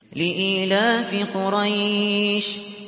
لِإِيلَافِ قُرَيْشٍ